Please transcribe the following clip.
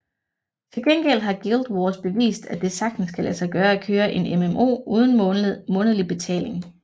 Til gengæld har Guild Wars bevist at det sagtens kan lade sig gøre at køre en MMO uden månedlig betaling